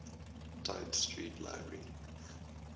tite street library